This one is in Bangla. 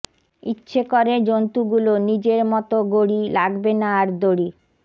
ইচ্ছে করে জন্তুগুলো নিজের মতো গড়ি লাগবে না আর দড়ি